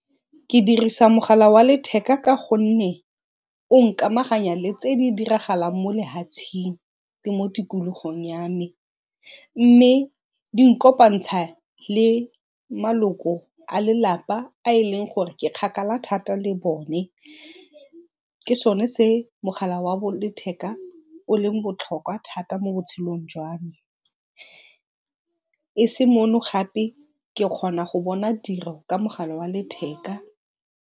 Ke dirisa mogala wa letheka ka gonne o nkamaganya tse di diragalang mo lehatseng le mo tikologong ya me, mme di nkopantsha le maloko a lelapa a e leng gore ke kgakala thata le bone. Ke sone se mogala wa letheka o leng botlhokwa thata mo botshelong jwa me. E se mono gape ke kgona go bona tiro ka mogala wa letheka.